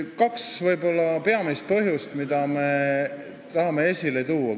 Kaks võib-olla peamist põhjust, mida me tahame esile tuua.